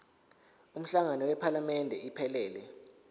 umhlangano wephalamende iphelele